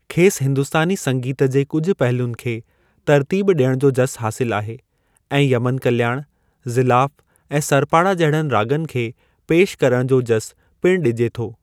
खेसि हिंदुस्तानी संगीत जे कुझु पहलुनि खे तर्तीब ॾियण जो जसु हासिलु आहे, ऐं यमन कल्याणु, ज़िलाफ ऐं सरपाड़ा जहिड़नि राॻनि खे पेशि करण जो जसु पिणु ॾिजे थो।